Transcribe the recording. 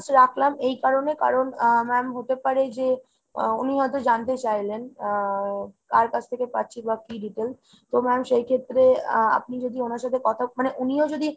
রাখলাম এই কারণে, কারণ আহ ma'am হতে পারে যে উনি হয়তো জানতে চাইলেন উম কার কাছ থেকে পাচ্ছি বা কী details? তো ma'am সেইক্ষেত্রে আ আপনি যদি ওনার সাথে কথা মানে উনিও যদি